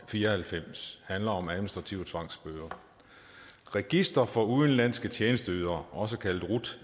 og fire og halvfems handler om administrative tvangsbøder registret for udenlandske tjenesteydere også kaldet rut